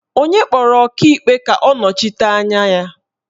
Onye kpọrọ Ọkaikpe a ka ọ nọchite anya ya?